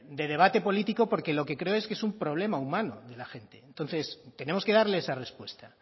de debate político porque lo que creo es que es un problema humano de la gente entonces tenemos que darle esa respuesta